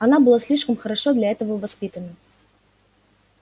она была слишком хорошо для этого воспитана